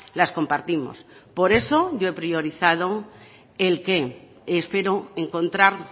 las compartimos por eso yo he priorizado el qué espero encontrar